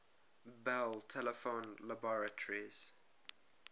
bell telephone laboratories